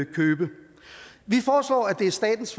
købe vi foreslår at det er statens